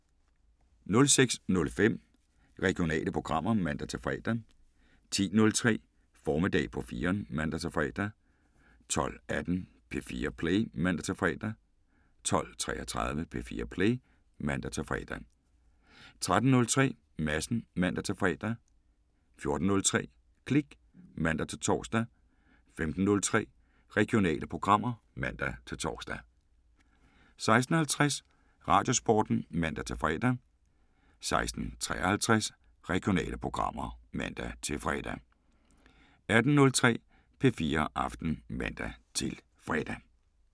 06:05: Regionale programmer (man-fre) 10:03: Formiddag på 4'eren (man-fre) 12:18: P4 Play (man-fre) 12:33: P4 Play (man-fre) 13:03: Madsen (man-fre) 14:03: Klik (man-tor) 15:03: Regionale programmer (man-tor) 16:50: Radiosporten (man-fre) 16:53: Regionale programmer (man-fre) 18:03: P4 Aften (man-fre)